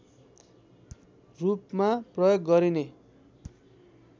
रूपमा प्रयोग गरिने